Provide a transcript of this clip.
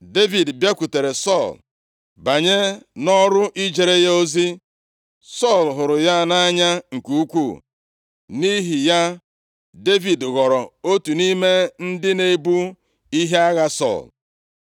Devid bịakwutere Sọl, banye nʼọrụ ijere ya ozi. Sọl hụrụ ya nʼanya nke ukwuu, nʼihi ya, Devid ghọrọ otu nʼime ndị na-ebu ihe agha Sọl.